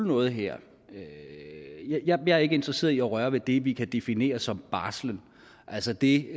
noget her jeg er ikke interesseret i at røre ved det som vi kan definere som barsel altså det